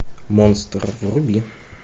монстр вруби